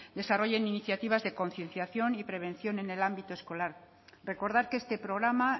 desarrollen iniciativas de concienciación y prevención en el ámbito escolar recordar que este programa